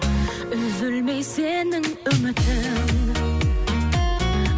үзілмей сенің үмітің